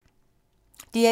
DR1